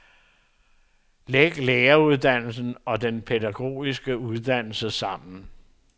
Læg læreruddannelsen og den pædagogiske uddannelse sammen.